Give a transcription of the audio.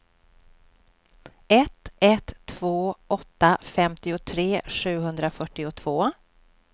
ett ett två åtta femtiotre sjuhundrafyrtiotvå